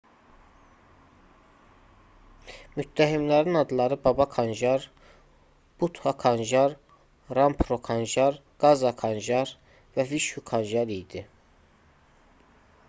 müttəhimlərin adları baba kanjar bhutha kanjar rampro kanjar gaza kanjar və vishu kanjar idi